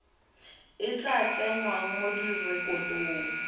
e tla tsengwang mo direkotong